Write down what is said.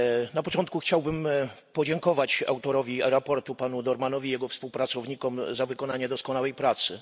Na początku chciałbym podziękować autorowi raportu, panu Dohrmannowi, i jego współpracownikom za wykonanie doskonałej pracy.